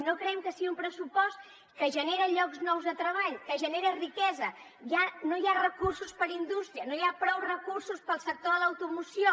no creiem que sigui un pressupost que genera llocs nous de treball que genera riquesa ja no hi ha recursos per a indústria no hi ha prou recursos per al sector de l’automoció